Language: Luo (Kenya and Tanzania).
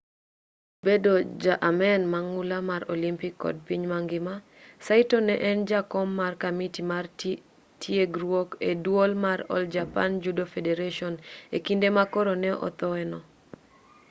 kaachiel kod bedo ja amen mang'ula mar olympic kod piny mangima saito ne en jakom mar kamiti mar tiegruok e duol mar all japan judo federation e kinde ma koro ne othoe no